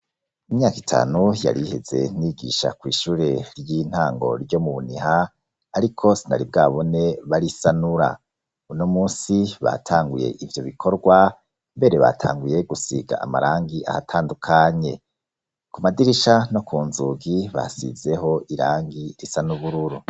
Imyaka itanu yari iheze, nigisha kw'ishure ry'intango ryo Muniha, ariko sinari bwabone barisanura, uno munsi batanguye ivyo bikorwa, mbere batanguye gusiga amarangi ahatandukanye. Ku madirisha no ku nzugi, basizeho irangi risa n'Ubururu.